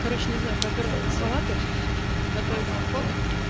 короче не знаю пропёрло меня на салаты готовить мне неохота